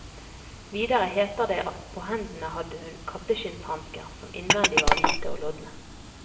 Videre heter det at på hendene hadde hun katteskinnshansker, som innvendig var hvite og lodne.